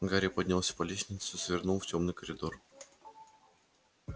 гарри поднялся по лестнице свернул в тёмный коридор